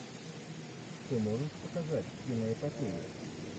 ты можешь показать киноэпопею